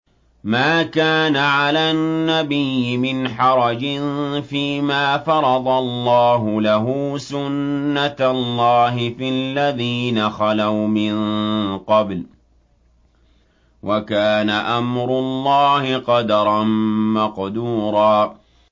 مَّا كَانَ عَلَى النَّبِيِّ مِنْ حَرَجٍ فِيمَا فَرَضَ اللَّهُ لَهُ ۖ سُنَّةَ اللَّهِ فِي الَّذِينَ خَلَوْا مِن قَبْلُ ۚ وَكَانَ أَمْرُ اللَّهِ قَدَرًا مَّقْدُورًا